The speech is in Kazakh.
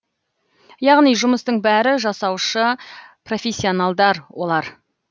яғни жұмыстың бәрі жасаушы профессионалдар олар